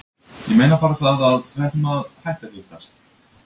Ég meina bara það að. við ættum að hætta að hittast.